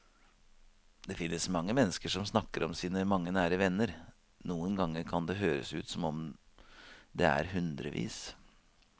Det finnes mennesker som snakker om sine mange nære venner, noen ganger kan det høres ut som om det er hundrevis.